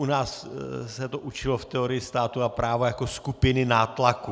U nás se to učilo v teorii státu a práva jako skupiny nátlaku.